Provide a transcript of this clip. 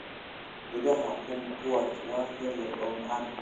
Midhaha kumquat waa yaryar oo macaan.